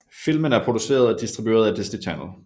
Filmen er produceret og distribueret af Disney Channel